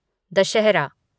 Dussehra